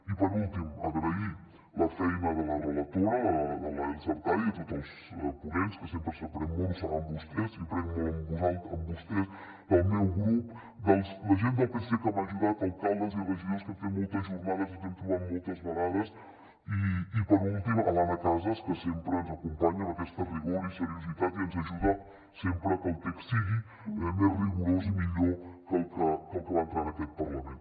i per últim agrair la feina de la relatora de l’elsa artadi i de tots els ponents que sempre se n’aprèn molt ho saben vostès jo n’aprenc molt de vostès del meu grup de la gent del psc que m’ha ajudat d’alcaldes i regidors que hem fet moltes jornades i ens hem trobat moltes vegades i per últim de l’anna casas que sempre ens acompanya amb aquest rigor i seriositat i ens ajuda a que el text sigui més rigorós i millor que el que va entrar en aquest parlament